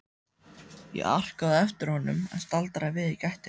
Ég arkaði á eftir honum en staldraði við í gættinni.